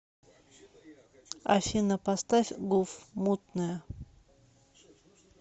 афина поставь гуф мутная